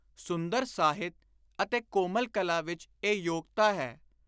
ਸੁੰਦਰ ਸਾਹਿਤ ਅਤੇ ਕੋਮਲ ਕਲਾ ਵਿਚ ਇਹ ਯੋਗਤਾ ਹੈ